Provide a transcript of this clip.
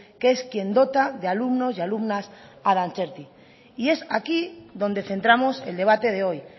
que es quien dota de alumnos y alumnas a dantzerti y es aquí donde centramos el debate de hoy